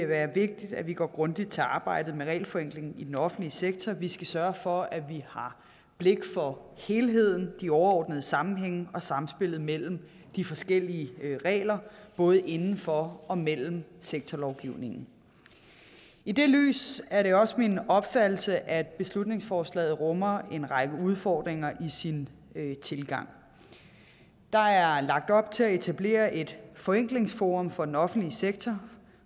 være vigtigt at vi går grundigt til arbejdet med regelforenklingen i den offentlige sektor vi skal sørge for at vi har blik for helheden de overordnede sammenhænge og samspillet mellem de forskellige regler både inden for og mellem sektorlovgivningen i det lys er det også min opfattelse at beslutningsforslaget rummer en række udfordringer i sin tilgang der er lagt op til at etablere et forenklingsforum for den offentlige sektor